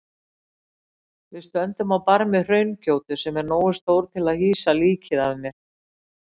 Við stöndum á barmi hraungjótu sem er nógu stór til að hýsa líkið af mér.